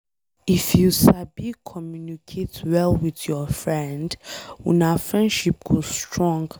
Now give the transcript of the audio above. If you sabi communicate well with your friend, una friendship go strong.